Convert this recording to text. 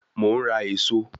Mo ń rà èso